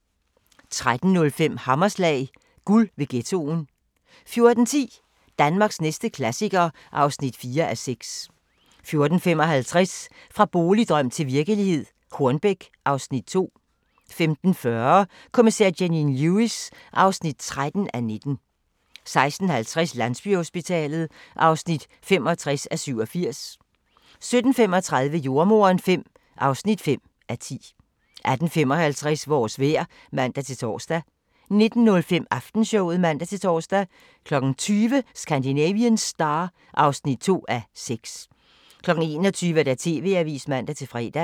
13:05: Hammerslag – guld ved ghettoen 14:10: Danmarks næste klassiker (4:6) 14:55: Fra boligdrøm til virkelighed - Hornbæk (Afs. 2) 15:40: Kommissær Janine Lewis (13:19) 16:50: Landsbyhospitalet (65:87) 17:35: Jordemoderen V (5:10) 18:55: Vores vejr (man-tor) 19:05: Aftenshowet (man-tor) 20:00: Scandinavian Star (2:6) 21:00: TV-avisen (man-fre)